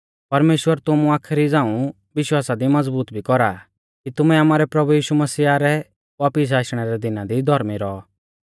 परमेश्‍वर तुमु आखरी झ़ांऊ विश्वासा दी मज़बूत भी कौरा आ कि तुमैं आमारै प्रभु यीशु मसीहा रै वापिस आशणै रै दिना दी धौर्मी रौ